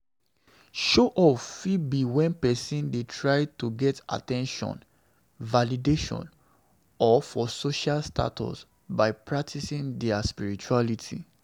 Show off fit be when person dey try to get at ten tion, validation or for social status by practicing their spirituality